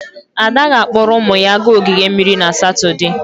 Ada ga-akpọrọ ụmụ ya gaa ogige mmiri na Satọde.